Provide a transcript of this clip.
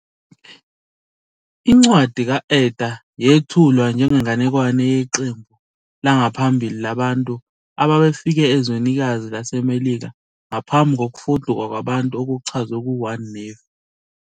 Incwadi ka-Ether yethulwa njengenganekwane yeqembu langaphambili labantu ababefike ezwenikazi laseMelika ngaphambi kokufuduka kwabantu okuchazwe ku-1 Nefi.